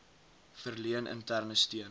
verleen interne steun